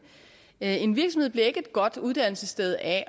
en virksomhed bliver ikke et godt uddannelsessted af